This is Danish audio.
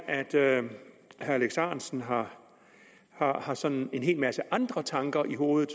at herre alex ahrendtsen har har sådan en hel masse andre tanker i hovedet